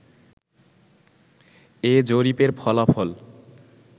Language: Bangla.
এ জরিপের ফলাফল